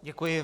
Děkuji.